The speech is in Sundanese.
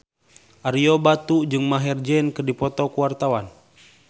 Ario Batu jeung Maher Zein keur dipoto ku wartawan